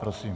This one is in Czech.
Prosím.